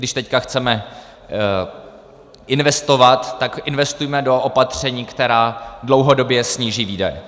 Když teď chceme investovat, tak investujme do opatření, která dlouhodobě sníží výdaje.